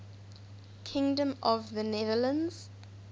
kingdom of the netherlands